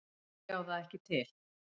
Ég á það ekki til.